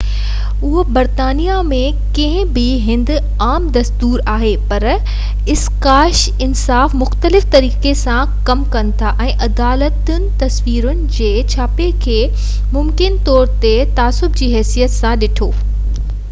اهو برطانيا ۾ ڪنهن ٻي هنڌ عام دستور آهي پر اسڪاٽس انصاف مختلف طريقي سان ڪم ڪن ٿا ۽ عدالتن تصويرن جي ڇاپي کي ممڪن طور تي تعصب جي حيثيت سان ڏٺو